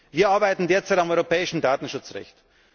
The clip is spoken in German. Wir arbeiten derzeit am europäischen Datenschutzrecht.